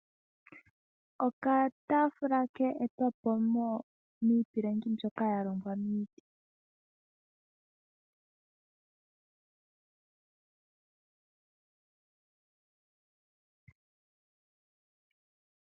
Okataafula keetwapo miipilangi mbyoka yalongwa miiti